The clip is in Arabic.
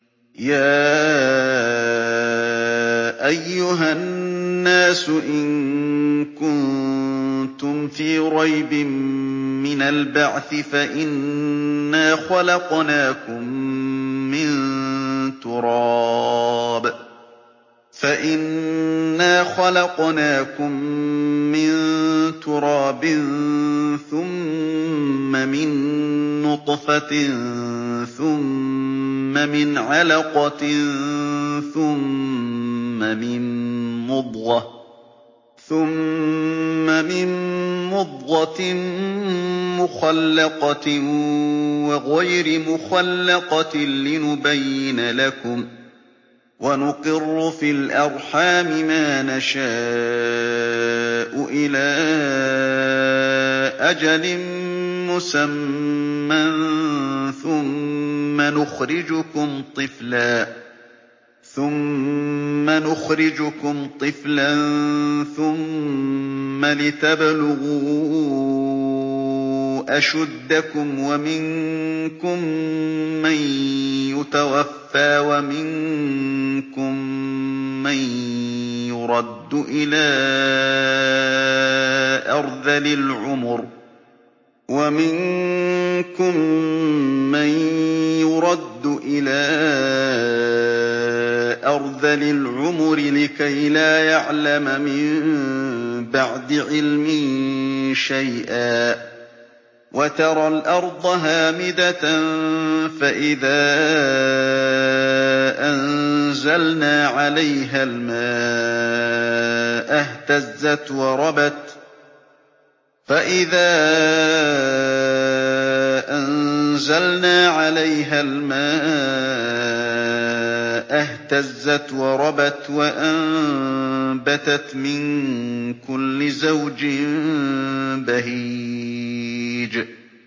يَا أَيُّهَا النَّاسُ إِن كُنتُمْ فِي رَيْبٍ مِّنَ الْبَعْثِ فَإِنَّا خَلَقْنَاكُم مِّن تُرَابٍ ثُمَّ مِن نُّطْفَةٍ ثُمَّ مِنْ عَلَقَةٍ ثُمَّ مِن مُّضْغَةٍ مُّخَلَّقَةٍ وَغَيْرِ مُخَلَّقَةٍ لِّنُبَيِّنَ لَكُمْ ۚ وَنُقِرُّ فِي الْأَرْحَامِ مَا نَشَاءُ إِلَىٰ أَجَلٍ مُّسَمًّى ثُمَّ نُخْرِجُكُمْ طِفْلًا ثُمَّ لِتَبْلُغُوا أَشُدَّكُمْ ۖ وَمِنكُم مَّن يُتَوَفَّىٰ وَمِنكُم مَّن يُرَدُّ إِلَىٰ أَرْذَلِ الْعُمُرِ لِكَيْلَا يَعْلَمَ مِن بَعْدِ عِلْمٍ شَيْئًا ۚ وَتَرَى الْأَرْضَ هَامِدَةً فَإِذَا أَنزَلْنَا عَلَيْهَا الْمَاءَ اهْتَزَّتْ وَرَبَتْ وَأَنبَتَتْ مِن كُلِّ زَوْجٍ بَهِيجٍ